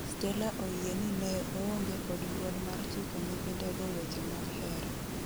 Stella oyie ni neo onge kod duol mar chiko nyithinde go weche mag hera.